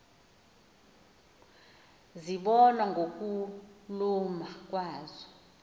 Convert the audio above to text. zibonwa ngokuluma kwazo